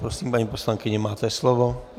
Prosím, paní poslankyně, máte slovo.